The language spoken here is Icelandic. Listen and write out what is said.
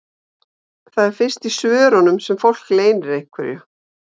Það er fyrst í svörunum sem fólk leynir einhverju.